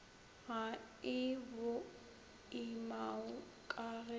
ga e boimao ka e